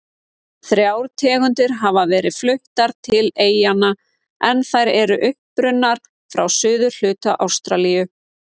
Þrjár tegundir hafa verið fluttar til eyjanna en þær eru upprunnar frá suðurhluta Ástralíu.